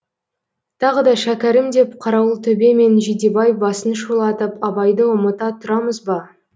тағы да шәкәрім деп қарауылтөбе мен жидебай басын шулатып абайды ұмыта тұрамыз ба